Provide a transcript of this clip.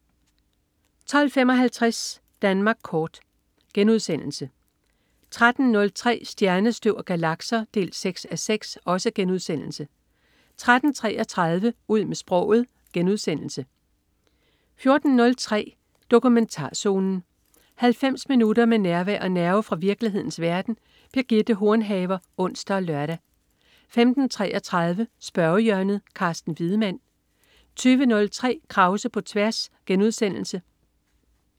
12.55 Danmark kort* 13.03 Stjernestøv og galakser 6:6* 13.33 Ud med sproget* 14.03 Dokumentarzonen. 90 minutter med nærvær og nerve fra virkelighedens verden. Birgitte Hornhaver (ons og lør) 15.33 Spørgehjørnet. Carsten Wiedemann 20.03 Krause på tværs*